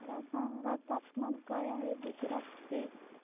मला सांगा तापमान काय आहे गुजरात चे